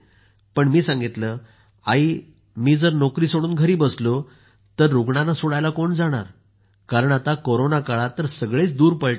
मी सांगितलं आई मी जर नोकरी सोडून घरी बसलो तर सगळीकडे रुग्णांना सोडायला कोण जाणार कारण आता कोरोना काळात तर सगळेच दूर पळताहेत